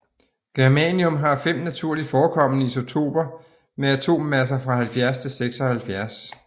Germanium har fem naturligt forekommende isotoper med atommasser fra 70 til 76